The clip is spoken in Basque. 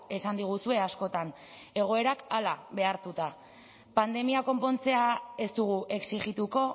esan diguzue askotan egoerak hala behartuta pandemia konpontzea ez dugu exijituko